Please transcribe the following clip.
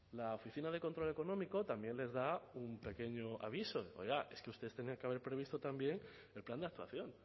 la oficina de control económico también les da un pequeño aviso oiga es que ustedes tenían que haber previsto también el plan de actuación